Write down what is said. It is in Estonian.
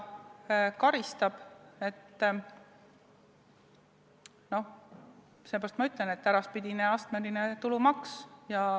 Seepärast ma ütlen, et see on äraspidine astmeline tulumaks.